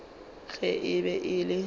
ge e be e le